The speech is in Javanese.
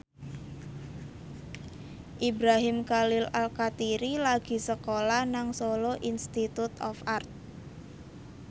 Ibrahim Khalil Alkatiri lagi sekolah nang Solo Institute of Art